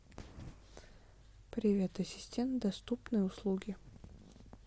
привет ассистент доступные услуги